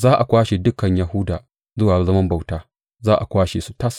Za a kwashe dukan Yahuda zuwa zaman bauta, za a kwashe su tas.